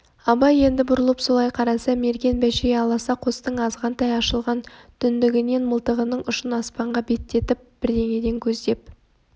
абай енді бұрылып солай қараса мерген бәшей аласа қостың азғантай ашылған түндігінен мылтығының ұшын аспанға беттетіп бірдеңен көздеп